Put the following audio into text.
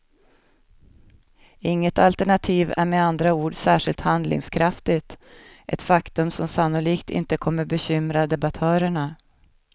Inget alternativ är med andra ord särskilt handlingskraftigt, ett faktum som sannolikt inte kommer bekymra debattörerna.